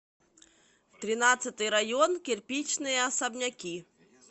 тринадцатый район кирпичные особняки